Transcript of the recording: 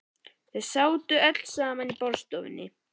Þau sátu öll saman í borðstofunni.